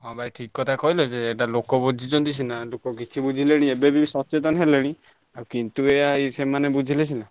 ହଁ ଭାଇ ଠିକ୍ କଥା କହିଲ ଯେ ଏଇଟା ଲୋକ ବୁଝିଛନ୍ତି ସିନା ଲୋକ କିଛି ବୁଝିଲେଣି ଏବେ ବି ସଚେତନ ହେଲେଣି ଆଉ କିନ୍ତୁ ଏୟା ସେମାନେ ବୁଝିଲେ ସିନା।